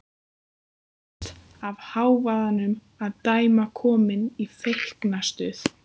Sem virðist af hávaðanum að dæma komin í feiknastuð.